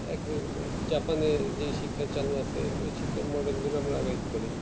Japan যেই শিক্ষা চালু আছে সেই শিক্ষাই modern যুগে আমরা আগামীতে পারি